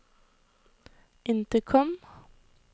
intercom